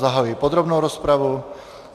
Zahajuji podrobnou rozpravu.